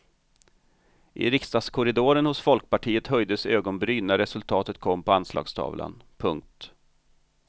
I riksdagskorridoren hos folkpartiet höjdes ögonbryn när resultatet kom på anslagstavlan. punkt